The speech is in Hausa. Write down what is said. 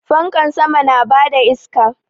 Fankan sama na bada iska